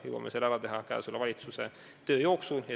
Me jõuame selle ära teha selle valitsuse tööaja jooksul.